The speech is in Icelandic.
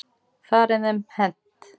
Þar er þeim hent.